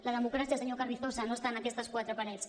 la democràcia senyor carrizosa no està en aquestes quatre parets